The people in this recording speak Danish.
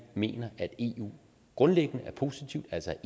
mener at eu grundlæggende er positivt altså